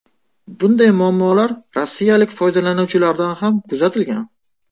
Bunday muammolar rossiyalik foydalanuvchilarda ham kuzatilgan.